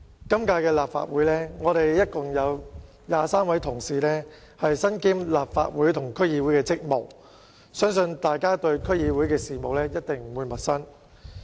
今屆立法會共有23位同事身兼立法會和區議會的職務，相信大家對區議會的事務一定不會陌生。